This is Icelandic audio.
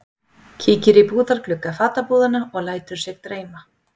Kíkir í búðarglugga fatabúðanna og lætur sig dreyma.